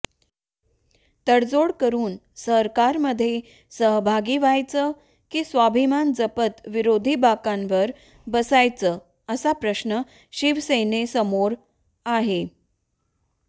तडजोड करून सरकारमध्ये सहभागी व्हायचं की स्वाभिमान जपत विरोधी बाकांवर बसायचं असा प्रश्न शिवसेनेसमोर आहे